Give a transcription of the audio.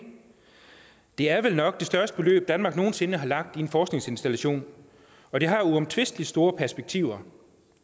det er vel nok det største beløb danmark nogen sinde har lagt i en forskningsinstallation og det har uomtvistelig store perspektiver